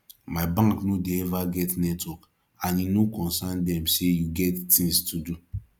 my bank no dey eva get network and e no concern dem sey you get tins to do